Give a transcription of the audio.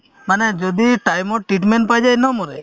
মানে যদি time ত treatment পাই যায় নমৰে